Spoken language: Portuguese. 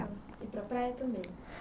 Iam. E para praia também...?